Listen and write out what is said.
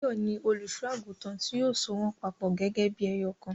Báyọ̀ ni olùṣọ́-àgùntàn tí yóò so wọ́n papọ̀ gẹ́gẹ́ bí ẹyọ̀kan.